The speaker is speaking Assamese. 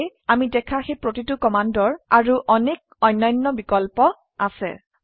সেয়ে আমি দেখা সেই প্ৰতিটো কমান্ডৰ আৰু অনেক অন্যান্য বিকল্প আছে